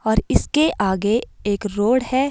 और इसके आगे एक रोड है।